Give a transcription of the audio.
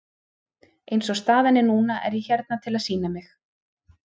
Eins og staðan er núna er ég hérna til að sýna mig.